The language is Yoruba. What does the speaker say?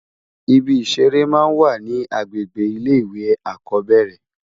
Ìbí iṣèré má n wá ni ágbégbé ilé iwé ákòbèrè